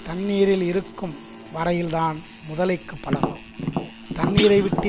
தண்ணீரில் இருக்கும் வரையில்தான் முதலைக்கு பலம் தண்ணீரைவிட்டு